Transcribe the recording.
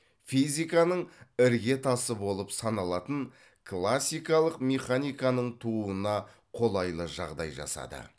физиканың іргетасы болып саналатын классикалық механиканың тууына қолайлы жағдай жасады